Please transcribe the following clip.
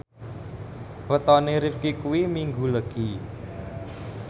wetone Rifqi kuwi Minggu Legi